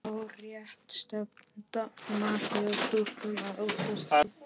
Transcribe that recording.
Það er hárrétt stefna hjá stúlkunum að óttast mig.